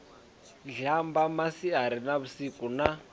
zhamba masiari na vhusiku na